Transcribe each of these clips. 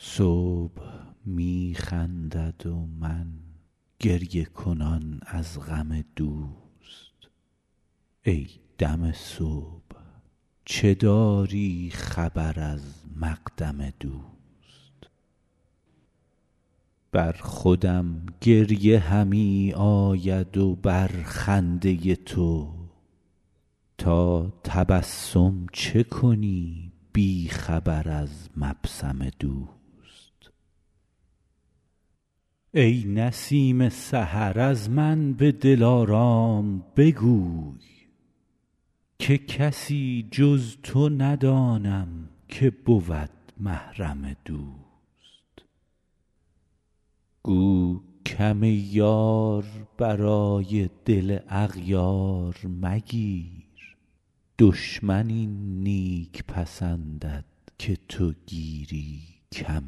صبح می خندد و من گریه کنان از غم دوست ای دم صبح چه داری خبر از مقدم دوست بر خودم گریه همی آید و بر خنده تو تا تبسم چه کنی بی خبر از مبسم دوست ای نسیم سحر از من به دلارام بگوی که کسی جز تو ندانم که بود محرم دوست گو کم یار برای دل اغیار مگیر دشمن این نیک پسندد که تو گیری کم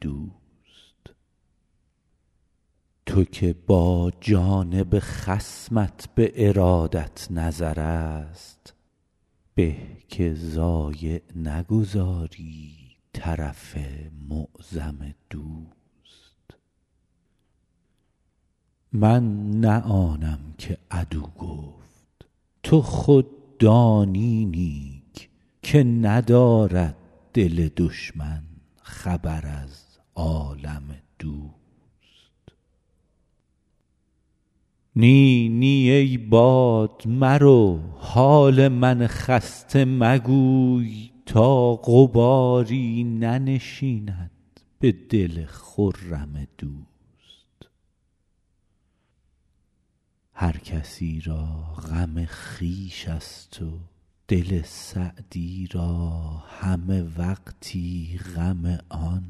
دوست تو که با جانب خصمت به ارادت نظرست به که ضایع نگذاری طرف معظم دوست من نه آنم که عدو گفت تو خود دانی نیک که ندارد دل دشمن خبر از عالم دوست نی نی ای باد مرو حال من خسته مگوی تا غباری ننشیند به دل خرم دوست هر کسی را غم خویش ست و دل سعدی را همه وقتی غم آن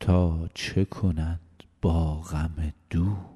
تا چه کند با غم دوست